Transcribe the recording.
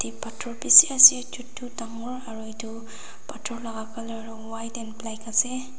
pathor bisi ase chotu dagur aru etu pathor laga colour white and black ase.